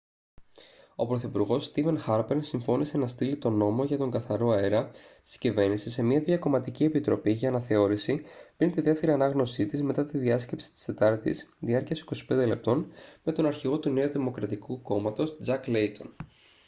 ο πρωθυπουργός στήβεν χάρπερ συμφώνησε να στείλει τον «νόμο για τον καθαρό αέρα» της κυβέρνησης σε μια διακομματική επιτροπή για αναθεώρηση πριν τη δεύτερη ανάγνωσή της μετά την διάσκεψη της τετάρτης διάρκειας 25 λεπτών με τον αρχηγό του νέου δημοκρατικού κόμματος τζακ λέιτον